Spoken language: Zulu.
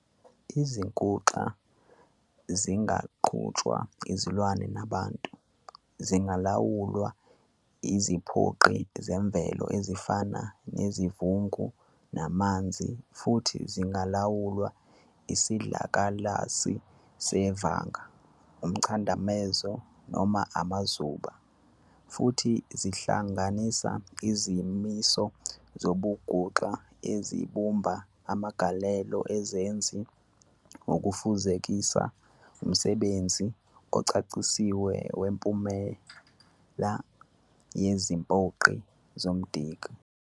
Izinguxa zingaqhutshwa izilwane nabantu, zingalawulwa iziphoqi zemvelo ezifana nesivungu namanzi, futhi zingalawulwa isidlakalasi sevanga, umchadamezo noma amaZuba, futhi zihlanganisa izimiso zobunguxa ezibumba amagalelo eZenzi ukufezekisa umsebenzi ocacisiwe wemiphumela yeziphoqi nomdiki.